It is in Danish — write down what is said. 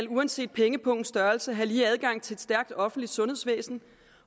uanset pengepungens størrelse have lige adgang til et stærkt offentligt sundhedsvæsen